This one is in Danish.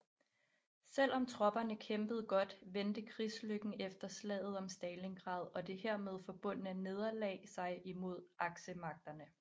Selv om tropperne kæmpede godt vendte krigslykken efter Slaget om Stalingrad og det hermed forbundne nederlag sig imod Aksemagterne